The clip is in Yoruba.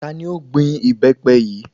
Tani ó gbin ìbẹ́pẹ yìí?